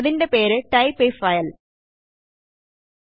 അതിൻറെ പേര് type a file name